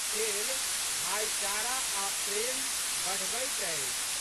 खेल भाइचारा आ' प्रेम बढ़बैत अछि।